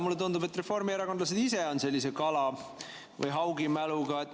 Mulle tundub, et reformierakondlased ise on sellise kala- või haugimäluga.